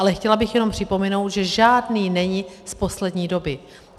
Ale chtěla bych jenom připomenout, že žádný není z poslední doby.